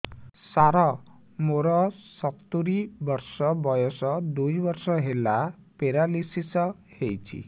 ସାର ମୋର ସତୂରୀ ବର୍ଷ ବୟସ ଦୁଇ ବର୍ଷ ହେଲା ପେରାଲିଶିଶ ହେଇଚି